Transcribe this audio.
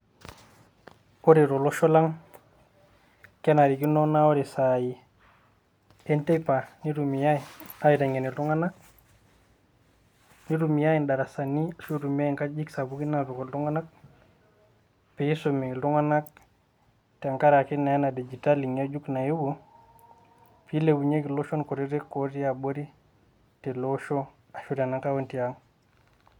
Kore tolosho lang' kenarikino naa kore isaai enteipa neitumiai aiteng'en iltung'ana, neitumiai indarasani anaa inkajijik sapukin aapik iltung'anak pee eisumi iltung'anak tenkaraki naa ena digitali ngejuk naewuo pee eilepunyeki iloshon kutitik otii abori tele osho anaa tena kaunti aang'.